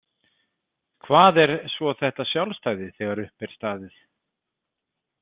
Hvað er svo þetta sjálfstæði þegar upp er staðið?